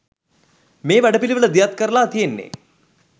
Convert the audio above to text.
මේ වැඩ පිළිවෙල දියත්කරළා තියෙන්නේ.